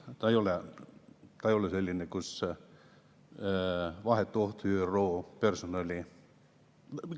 See ei ole selline, kus vahetu oht ÜRO personali.